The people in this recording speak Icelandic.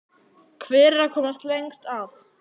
Hver er að komast lengst að?